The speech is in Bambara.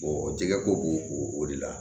jɛgɛ ko b'o o de la